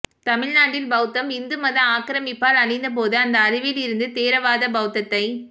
தமிழ் நாட்டில் பௌத்தம் இந்து மத ஆக்கிரமிப்பால் அழிந்த போது அந்த அழிவிலிருன்க்து தேரவாத பௌத்ததைப்